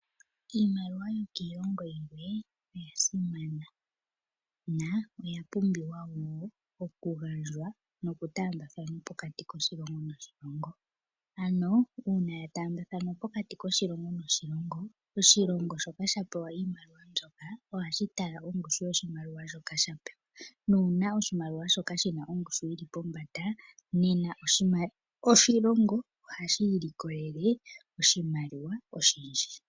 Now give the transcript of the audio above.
Iimaliwa yokiilongo yimwe oya simana, na oya pumbiwa wo okugandjwa nokutaambathanwa pokati koshilongo noshilongo. Ano uuna ya taambathanwa pokati koshilongo noshilongo, oshilongo shoka sha pewa oshimaliwa mbyoka, ohashi tala ongushu yoshimaliwa shoka sha pewa, nuuna oshimaliwa shoka shi na ongushu yi li pombanda, nena oshilongo ohashi ilikolele oshimaliwa oshindji.